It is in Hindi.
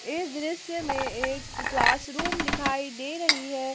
इस दृश्य में एक क्लास रूम दिखाई दे रही है।